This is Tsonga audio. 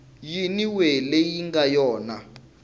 yin we leyi nga yona